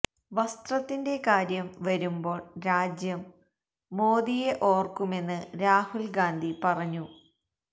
വസ്ത്രത്തിന്റെ കാര്യം വരുമ്പോള് രാജ്യം മോദിയെ ഓര്ക്കുമെന്ന് രാഹുല് ഗാന്ധി പറഞ്ഞു